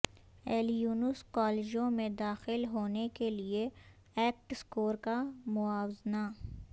Illinois کالجوں میں داخل ہونے کے لئے ایکٹ اسکور کا موازنہ